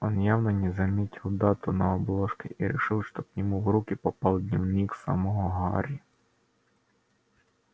он явно не заметил дату на обложке и решил что к нему в руки попал дневник самого гарри